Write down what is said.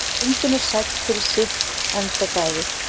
Engin er sæll fyrir sitt endadægur.